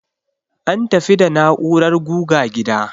An tafi da na'urar guga gida.